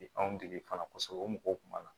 Anw dege fana o mɔgɔw kun b'a la